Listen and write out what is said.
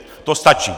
To stačí.